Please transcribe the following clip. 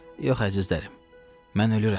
Yox, əzizlərim, mən ölürəm.